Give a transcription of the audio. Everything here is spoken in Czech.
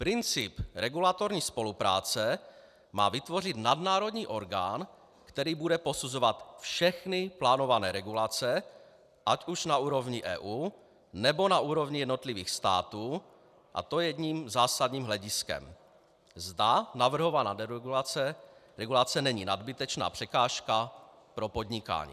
Princip regulatorní spolupráce má vytvořit nadnárodní orgán, který bude posuzovat všechny plánované regulace ať už na úrovni EU, nebo na úrovni jednotlivých států, a to jedním zásadním hlediskem - zda navrhovaná regulace není nadbytečná překážka pro podnikání.